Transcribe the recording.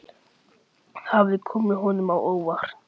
Það hafði komið honum á óvart.